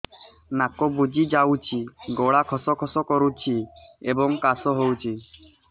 ନାକ ବୁଜି ଯାଉଛି ଗଳା ଖସ ଖସ କରୁଛି ଏବଂ କାଶ ହେଉଛି